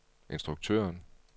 instruktøren